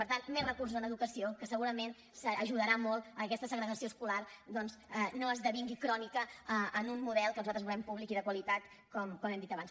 per tant més recursos en educació que segurament ajudarà molt que aquesta segregació escolar doncs no esdevingui crònica en un model que nosaltres volem públic i de qualitat com hem dit abans